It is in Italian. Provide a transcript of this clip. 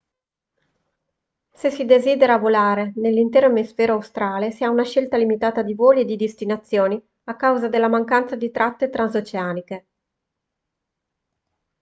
se si desidera volare nell'intero emisfero australe si ha una scelta limitata di voli e di destinazioni a causa della mancanza di tratte transoceaniche